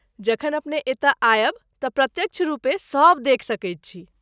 जखन अपने एतय आयब तँ प्रत्यक्ष रुपे सब देखि सकैत छी।